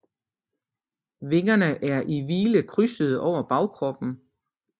Vingerne er i hvile krydsede over bagkroppen